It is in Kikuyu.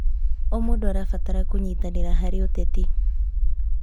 O mũndũ arabatara kũnyitanĩra harĩ ũteti.